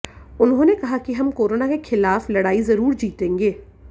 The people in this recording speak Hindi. उन्होंने कहा कि हम कोरोना के खिलाफ लड़ाई जरूर जीतेंगे